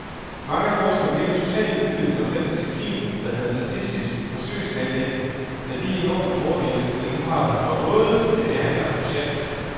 Mange forskere virker totalt uvidende om den disciplin, der hedder statistisk forsøgsplanlægning, med de enorme fordele, den nu har for både behandler og patient.